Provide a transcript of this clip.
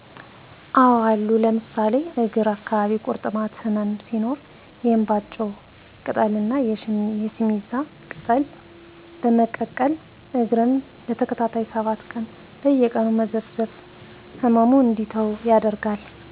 አዎ አሉ ለምሳሌ እግር አካባቢ ቂርጥማት ህመም ሲኖር የእንባጮ ቅጠል ና የሲሚዛ ቅጠል በመቀቀል እግርን ለተከታታይ 7 ቀናት በየቀኑ መዘፍዘፍ ህመሙ እንዲተወን ያደርጋል።